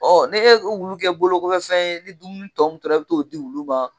ni ye wulu kɛ bolo kɔfɛ fɛn ye ni dumuni min tɔ tora i bɛ t'o di wulu ma